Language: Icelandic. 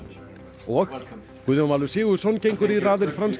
og Guðjón Valur Sigurðsson gengur í raðir franska